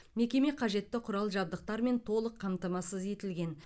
мекеме қажетті құрал жабдықтармен толық қамтамасыз етілген